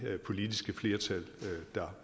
der